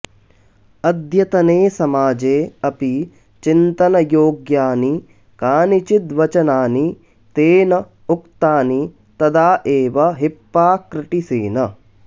अद्यतने समाजे अपि चिन्तनयोग्यानि कानिचित् वचनानि तेन उक्तानि तदा एव हिप्पाक्रटिसेन